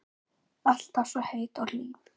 Alltaf svo heit og hlý.